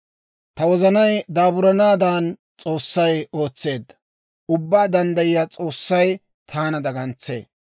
Ta wozanay daaburanaadan S'oossay ootseedda; Ubbaa Danddayiyaa S'oossay taana dagantsee.